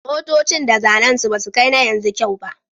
Motocin da zannen su basu kai na yanzu kyau ba